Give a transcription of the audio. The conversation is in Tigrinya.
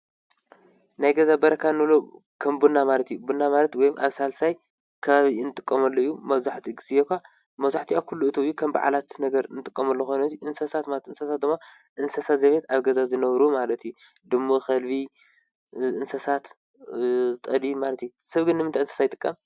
ናይ ገዛ በረካ ንብሎ ከም ቡና ማለት እዩ፡፡ ቡና ማለት ወይም ኣብ ሣልሳይ ከባቢ እንጥቆመሉ እዩ፡፡ መብሕቲኡ ጊዜ ኳ መዙሕቲኣ ዂሉ እትው እዩ፡፡ ከም በዓላት ነገር እንጥቆመሉ ኾይኑ አንሰሳት ማለት እንስሳት ዘቤት ኣብ ገዛ ዝነብሩ ማለት እዩ፡፡ ድሙ፣ ኸልቢ እንሰሳት ጠሊ ማለት አዩ፡፡ ሰብ ግን ንምንታይ እዩ እንስሳ ዝጥቀም?